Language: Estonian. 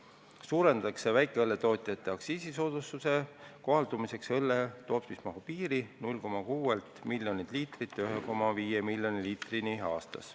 Peale selle tõstetakse väikeõlletootjate aktsiisisoodustuse kohaldumiseks õlle tootmismahu piiri 0,6 miljonilt liitrilt 1,5 miljoni liitrini aastas.